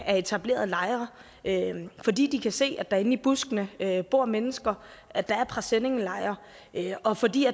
er etableret lejre fordi de kan se at der inde i buskene bor mennesker at der er presenninglejre og fordi